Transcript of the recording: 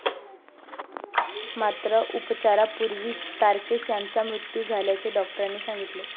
मात्र, उपचारापूर्वीच तारकेश याचा मृत्यू झाल्याचे डॉक्टरांनी सांगितले.